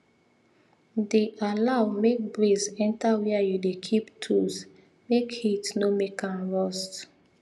the allow make breeze enter where you dey keep tools make heat no make am rust